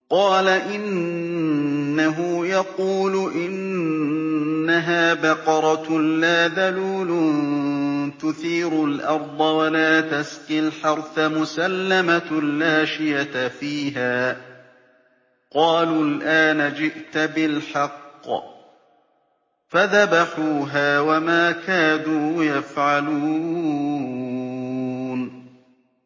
قَالَ إِنَّهُ يَقُولُ إِنَّهَا بَقَرَةٌ لَّا ذَلُولٌ تُثِيرُ الْأَرْضَ وَلَا تَسْقِي الْحَرْثَ مُسَلَّمَةٌ لَّا شِيَةَ فِيهَا ۚ قَالُوا الْآنَ جِئْتَ بِالْحَقِّ ۚ فَذَبَحُوهَا وَمَا كَادُوا يَفْعَلُونَ